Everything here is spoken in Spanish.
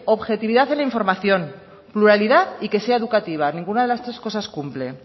objetividad en la información pluralidad y que sea educativa ninguna de las tres cosas cumple